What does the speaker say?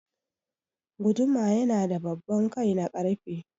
Guduma yana da babban kai na ƙarfe.